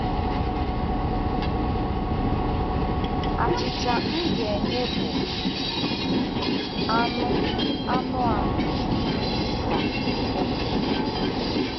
Achịcha m ga-enye bụ anụ anụ ahụ m, ka o kwuru.